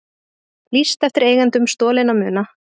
Lýst eftir eigendum stolinna muna